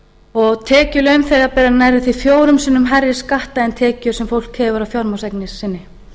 og tekjur launþega bera nærri því fjórum sinnum hærri skatta en tekjur sem fólk hefur af fjármagnseign sinni